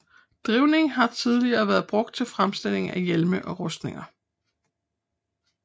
Drivning har tidligere været brugt til fremstilling af hjelme og rustninger